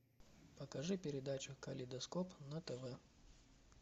покажи передачу калейдоскоп на тв